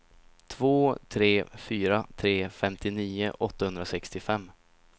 två tre fyra tre femtionio åttahundrasextiofem